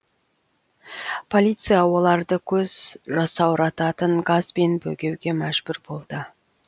полиция оларды көз жасаурататын газбен бөгеуге мәжбүр болды